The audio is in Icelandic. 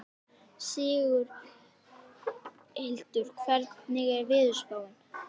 Sigurhildur, hvernig er veðurspáin?